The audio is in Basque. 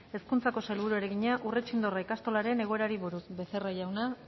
hezkuntzako sailburuari egina urretxindorra ikastolaren egoerari buruz becerra jauna